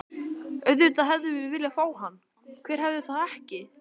Auðvitað hefðum við viljað fá hann, hver hefði það ekki?